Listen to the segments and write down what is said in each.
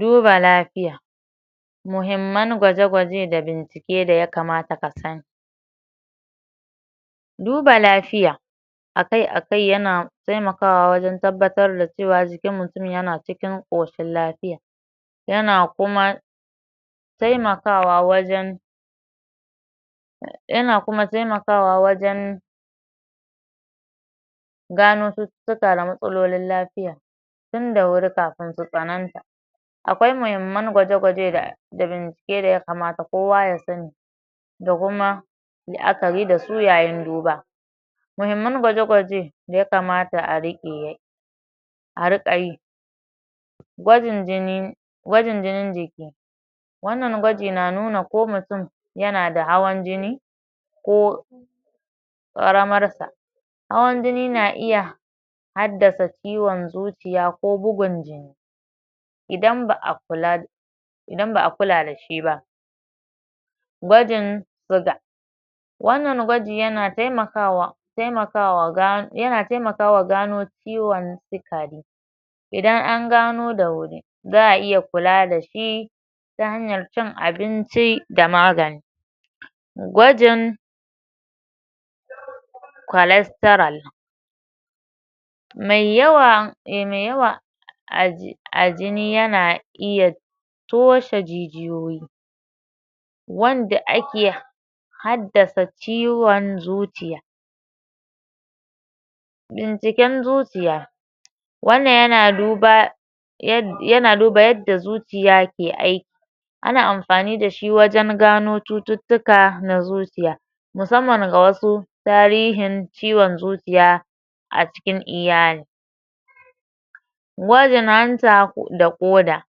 Duba lapiya muhimman gwaje gwaje da bincike daya kamata ka sani duba lafiya akai akai yana taimakawa wajan tabbatar da cewa jikin mutum yana cikin ƙoshin lafiya yana kuma taimakawa wajan yana kuma taimakawa wajan gano cututtuka na matsalolin lapiya tin da wurin kafin su tsananta akwai muhimman gwaje gwaje da da bincike daya kamata kowa ya sani da kuma la'akari da su yayin duba muhimman gwaje gwaje daya kamata a riƙe a riƙayi gwajin jini gwajin jinin jiki wannan gwaji na nuna ko mutum yana da hawan jijni ko ƙaramar sa hawan jini na iya haddasa ciwon zuciya ko bugun jini idan ba'a kula idan ba'a kula da shi ba gwajin siga wannan gwaji yana taimaka wa em yana taimakawa gano ciwon sikari idan an gano da wuri za'a iya kula da shi ta hanyar cin abinci da magani gwajin kwalestiral mai yawan em em a jini yana iya toshe jijiyoyi wanda ake haddasa ciwon zuciya binciken zuciya wannan yana duba yana duba yadda zuciya ke aiki ana amfani dashi wajan gano cututtuka na zuciya musamman ga wasu tarihin ciwon zuciya a cikin iyali. Gwajin hanta da ƙoda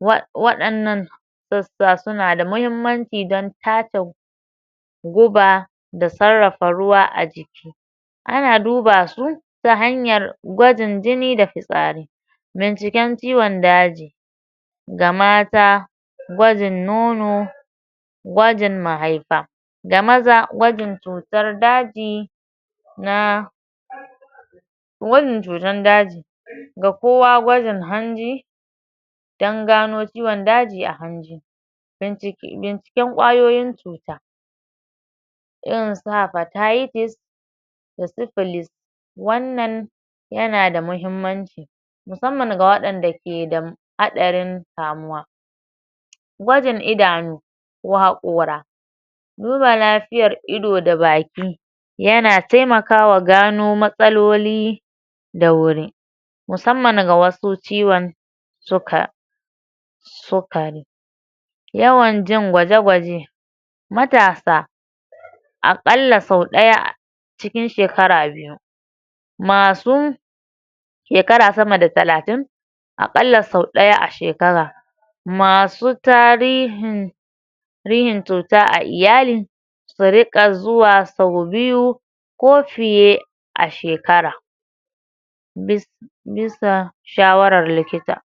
em waɗannan gaskiya suna da muhimmanci dn ta ke guba da sarrafa ruwa a jiki ana duba su ta hanyar gwajin jini na fitsari. Binciken ciwon daji ga mata gwajin nono gwajin mahaifa da maza gwajin cutar daji na gwajin cutan daji ga kowa gwajin hanji dan gano ciwon daji a hanji binciken kwayoyin cuta irin su hapatitis da sipilis wannan yana da muhimmanci musamman ga waɗanda ke da haarin kamuwa. Gwajin idanu wa hakora duba lafiyar ido da baki yana taimakawa gano matsaloli da wuri musamman ga wasu ciwon suka em yawan jan gwaje gwaje. Matasa a ƙalla sau ɗaya cikin shekara biyu masu shekara sama da talatin aƙalla sau ɗaya a shekara masu tarihin tarihin cuta a iyali su riƙa zuwa sau biyu ko fiye a shkara bi bisa shawarar kikita